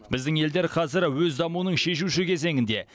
біздің елдер қазір өз дамуының шешуші кезеңінде